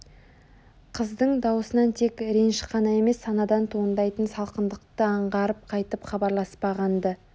Қыздың даусынан тек реніш қана емес санадан туындайтын салқындықты аңғарып қайтып хабарласпаған-ды